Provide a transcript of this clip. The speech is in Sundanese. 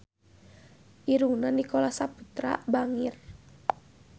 Irungna Nicholas Saputra bangir